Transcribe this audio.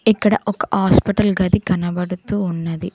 ఇక్కడ ఒక హాస్పిటల్ గది కనబడుతూ ఉన్నది.